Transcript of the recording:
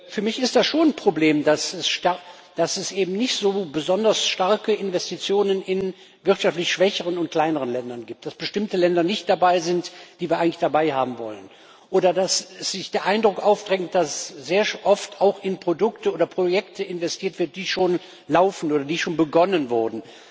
Für mich ist das schon ein Problem, dass es eben nicht so besonders starke Investitionen in wirtschaftlich schwächeren und kleineren Ländern gibt, dass bestimmte Länder nicht dabei sind, die wir eigentlich dabei haben wollen, oder dass sich der Eindruck aufdrängt, dass sehr oft auch in Produkte oder Projekte investiert wird, die schon laufen oder die schon begonnen wurden.